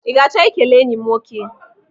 I ga-achọ ikele enyi m nwoke?